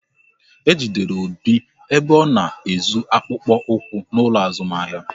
Ejidere Obi ebe ọ na-ezu akpụkpọ ụkwụ n'ụlọ azụmahịa